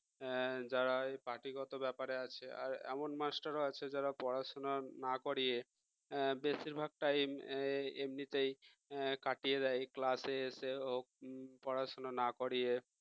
আহ যারা এই party গত ব্যাপারে আছে আর এমন মাস্টারও আছে যারা পড়াশুনা না করিয়ে বেশিরভাগ time এমনিতেই কাটিয়ে দেয় class এ এসে হোক পড়াশোনা না করিয়ে